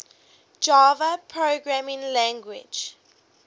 java programming language